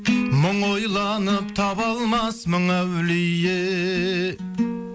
мың ойланып таба алмас мың әулие